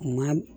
Maa